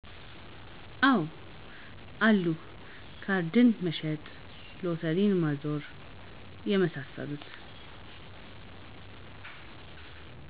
አወ አሉ ካርድ መሸጥ ሎተሪ ማዞር የመሳሰሉት